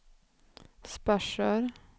Sparsör